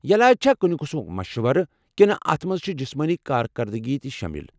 یلاج چھا كُنہِ قٕسمُک مشورٕ ، كِنہٕ اتھ منز چھِ جِسمٲنی كاركردگی تہِ شٲمِل ؟